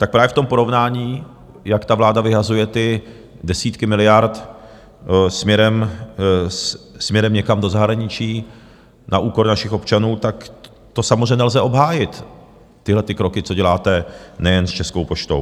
Tak právě v tom porovnání, jak ta vláda vyhazuje ty desítky miliard směrem někam do zahraničí na úkor našich občanů, tak to samozřejmě nelze obhájit tyhle ty kroky, co děláte nejen s Českou poštou.